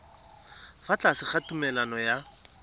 fa tlase ga tumalano ya